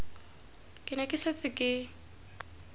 ke ne ke setse ke